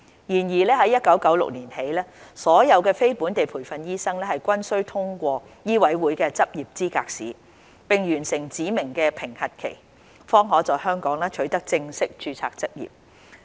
然而，自1996年起，所有非本地培訓醫生均須通過醫委會的執業資格試，並完成指明的評核期，方可在香港取得正式註冊執業。